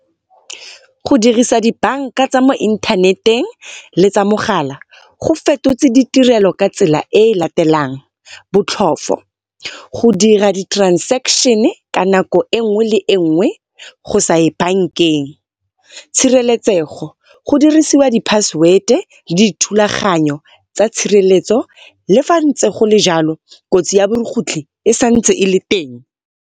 Go dirasa dibanka tsa mo inthaneteng le tsa mogala go fetotse ditirelo ka tsela e latelang, botlhoofo go dira di-transaction ka nako enngwe le enngwe, go sa ye bankeng. Tshireletsego, go dirisiwa di-password le dithulaganyo tsa tshireletso le fa ntse gole jalo kotsi ya borukgutlhi e santse e le teng.